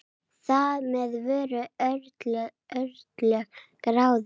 Þar með voru örlög ráðin.